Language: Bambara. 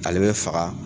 Ale bɛ faga